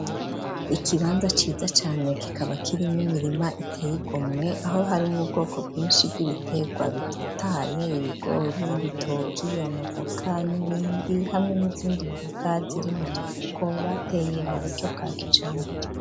Ikibanza ciza cane kikaba kirimwo n'imirima iteye igomwe, aho harimwo ubwoko bwinshi bw'ibitegwa bitotahaye, ibigori ,ibitoki ,amavoka n'ibindi ,hamwe n'izindi mboga ziri mu dufuko bateye mu buryo bwa kijambere.